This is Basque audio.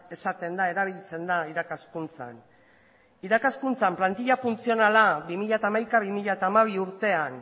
esaten da erabiltzen da irakaskuntzan irakaskuntzan plantila funtzionala bi mila hamaika bi mila hamabi urtean